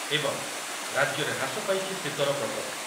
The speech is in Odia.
ଏବଂ ରାଜ୍ୟରେ ହ୍ରାସ ପାଇଛି ଶୀତର ପ୍ରକୋପ।